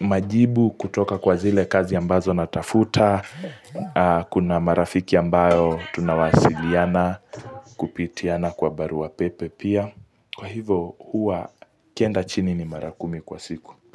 majibu kutoka kwa zile kazi ambazo natafuta Kuna marafiki ambayo tunawasiliana kupitiana kwa barua pepe pia Kwa hivo huwa ikienda chini ni mara kumi kwa siku.